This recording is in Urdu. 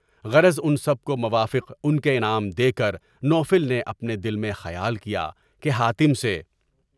غرض ان سب موافق کو ان کے انعام دے کر، نوفل نے اپنے دل میں خیال کیا کہ حاتم سے